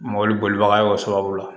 Mɔbili bolibaga y'o sababu la